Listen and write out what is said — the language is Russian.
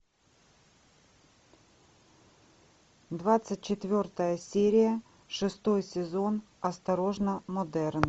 двадцать четвертая серия шестой сезон осторожно модерн